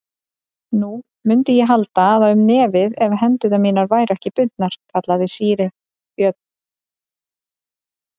Nú, mundi ég halda um nefið ef hendur mínar væru ekki bundnar, kallaði síra Björn.